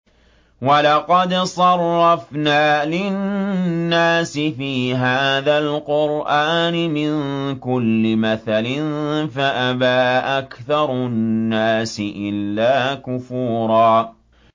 وَلَقَدْ صَرَّفْنَا لِلنَّاسِ فِي هَٰذَا الْقُرْآنِ مِن كُلِّ مَثَلٍ فَأَبَىٰ أَكْثَرُ النَّاسِ إِلَّا كُفُورًا